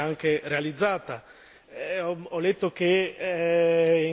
È sicuramente una situazione che talvolta si è anche realizzata.